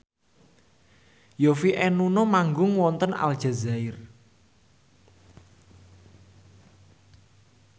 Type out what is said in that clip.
Yovie and Nuno manggung wonten Aljazair